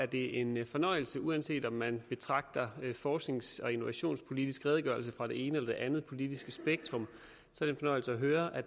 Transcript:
det en fornøjelse uanset om man betragter forsknings og innovationspolitisk redegørelse fra det ene eller det andet politiske spektrum at høre at